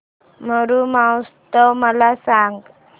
मरु महोत्सव मला सांग